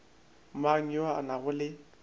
mang yo a nago le